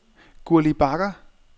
Gurli Bagger